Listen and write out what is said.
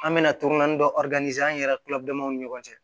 An bɛna dɔ an yɛrɛ kila damaw ni ɲɔgɔn cɛ